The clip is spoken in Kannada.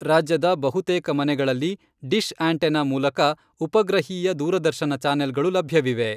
ರಾಜ್ಯದ ಬಹುತೇಕ ಮನೆಗಳಲ್ಲಿ ಡಿಶ್ ಆಂಟೆನಾ ಮೂಲಕ ಉಪಗ್ರಹೀಯ ದೂರದರ್ಶನ ಚಾನೆಲ್ಗಳು ಲಭ್ಯವಿವೆ.